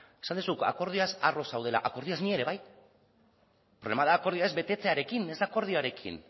esan duzu akordioaz harro zaudela akordioaz ni ere bai problema da akordia ez betetzearekin ez da akordioarekin